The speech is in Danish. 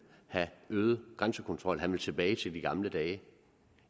have øget grænsekontrol han vil tilbage til de gamle dage